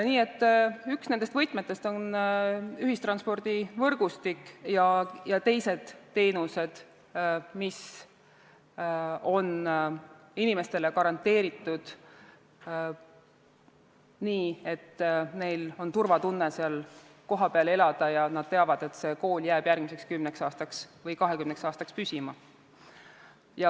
Nii et üks nendest võtmetest on ühistranspordivõrgustik ja teised teenused, mis on inimestele garanteeritud, nii et neil on turvatunne kohapeal elades ja nad teavad, et kool jääb järgmiseks kümneks või kahekümneks aastaks püsima.